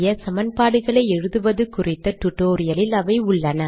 சமன்பாடுகளை எழுதுவது குறித்த டுடோரியலில் அவை உள்ளன